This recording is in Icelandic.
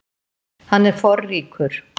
Hann er forríkur.